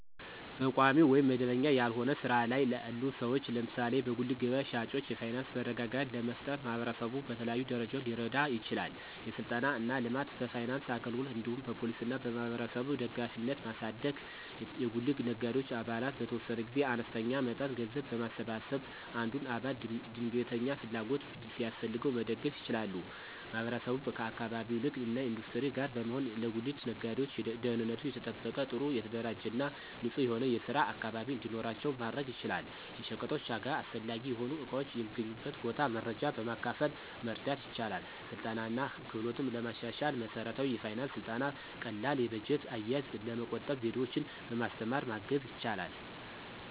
በቋሚ ወይም መደበኛ ያልሆነ ሥራ ላይ ላሉ ሰዎች (ለምሳሌ በጉሊት ገበያ ሻጮች) የፋይናንስ መረጋጋት ለመፍጠር ማህበረሰቡ በተለያዩ ደረጃዎች ሊረዳ ይችላል። የሥልጠና እና ልማት፣ በፋይናንስ አገልግሎት እንዲሁም በፖሊሲ እና በማህበረሰብ ደጋፊነትን ማሳደግ። የጉሊት ነጋዴዎች አባላት በተወሰነ ጊዜ አነስተኛ መጠን ገንዘብ በማሰባሰብ አንዱን አባል ድንገተኛ ፍላጎት ሲያስፈልገው መደገፍ ይችላሉ። ማህበረሰቡ ከአካባቢው ንግድ እና ኢንዱስትሪ ጋር በመሆን ለጉሊት ነጋዴዎች ደህንነቱ የተጠበቀ፣ ጥሩ የተደራጀ እና ንጹህ የሆነ የስራ አካባቢ እንዲኖራቸው ማድረግ ይችላል። የሸቀጦች ዋጋ፣ አስፈላጊ የሆኑ እቃዎች የሚገኙበት ቦታ መረጃ በማካፈል መርዳት ይችላል። ስልጠና እና ክህሎትን ለማሻሻል መሠረታዊ የፋይናንስ ሥልጠና ቀላል የበጀት አያያዝ፣ ለመቆጠብ ዘዴዎችን በማስተማር ማገዝ ይችላል።